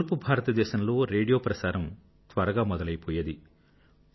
తూర్పు భారతదేశంలో రేడియో ప్రసారం త్వరగా మొదలైపోయేది